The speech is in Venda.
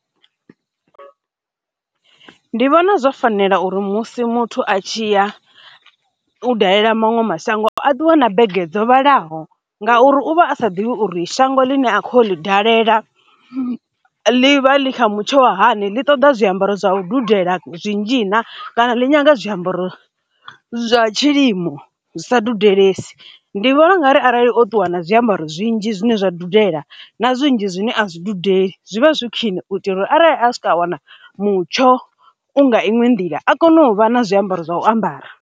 Ndi vhona zwo fanela uri musi muthu a tshi ya u dalela maṅwe mashango a ṱuwe na bege dzo vhalaho ngauri, u vha a sa ḓivhi uri shango ḽine a kho ḽi dalela ḽi vha ḽi kha mutsho wa hani, ḽi ṱoḓa zwiambaro zwa u dudela zwinzhi na kana ḽi nyaga zwiambaro zwa tshilimo zwi sa dudelesi. Ndi vhona ungari arali o ṱuwa na zwiambaro zwinzhi zwine zwa dudela na zwinzhi zwine a zwi dudeli zwi vha zwi khwiṋe u itela uri arali a swika a wana mutsho u nga inwe nḓila a kone u vha na zwiambaro zwa u ambara.